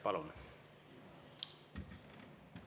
Palun!